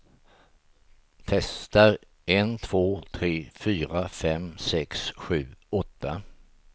Testar en två tre fyra fem sex sju åtta.